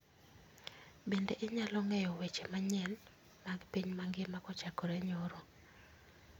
Bende inyalo ng'eyo weche manyen mag piny mangima kochakore nyoro